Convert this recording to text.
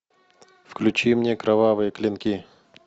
включи мне кровавые клинки